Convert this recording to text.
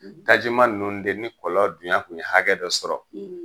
Tajima ninnu de ni kɔlɔn dunya tun ye hakɛ dɔ sɔrɔ